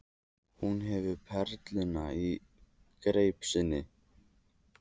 Og hún hefur perluna í greip sinni.